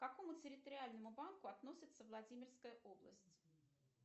к какому территориальному банку относится владимирская область